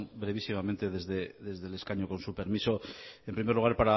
brevísimamente desde el escaño con su permiso en primer lugar